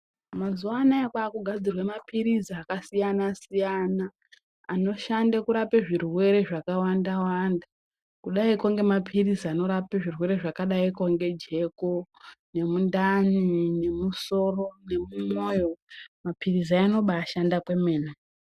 Mazuwa anaya kwaakugadzirwe mapilizi akasiyanasiyana anoshande kurape zvirwere zvakawanda wanda kudaiko ngemapilizi anorape zvirwere zvakadaiko nge jeko. nemundani ,nemusoro nemumwoyo mapilizi aya anobaashanda kwemene.